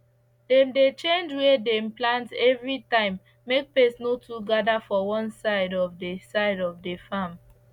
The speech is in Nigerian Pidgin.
dem dey change where dem plant every time make pest no too gather for one side of the side of the farm